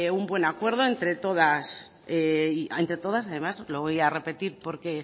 un buen acuerdo entre todas y además entre todas lo voy a repetir porque